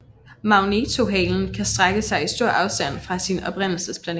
Magnetohalen kan strække sig i stor afstand fra sin oprindelsesplanet